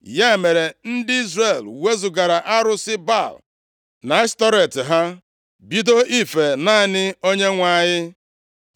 Ya mere, ndị Izrel wezugara arụsị Baal na Ashtọret ha, bido ife naanị Onyenwe anyị.